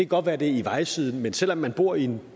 godt være det er i vejsiden men selv om man bor i en